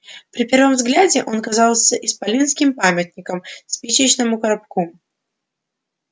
при первом взгляде он казался исполинским памятником спичечному коробку